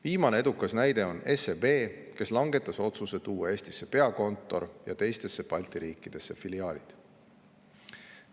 Viimane edukas näide on SEB, kes langetas otsuse tuua peakontor Eestisse ja jätta teistesse Balti riikidesse filiaalid.